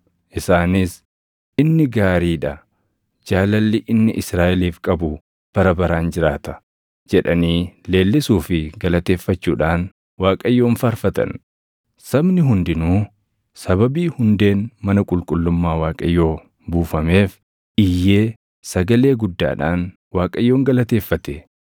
Isaanis, “Inni gaarii dha; jaalalli inni Israaʼeliif qabu bara baraan jiraata” jedhanii leellisuu fi galateeffachuudhaan Waaqayyoon faarfatan. Sabni hundinuu sababii hundeen mana qulqullummaa Waaqayyoo buufameef iyyee sagalee guddaadhaan Waaqayyoon galateeffate.